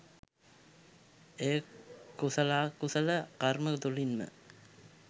එය කුසලාකුසල කර්ම තුළින්ම